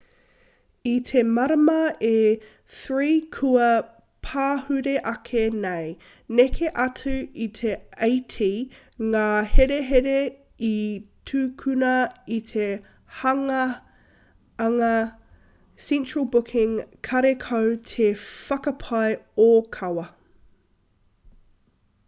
i te marama e 3 kua pahure ake nei neke atu i te 80 ngā herehere i tukuna i te hanganga central booking karekau te whakapae ōkawa